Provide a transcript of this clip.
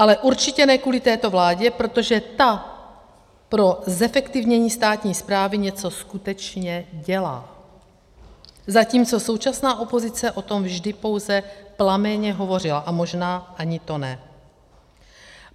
Ale určitě ne kvůli této vládě, protože ta pro zefektivnění státní správy něco skutečně dělá, zatímco současná opozice o tom vždy pouze plamenně hovořila, a možná ani to ne.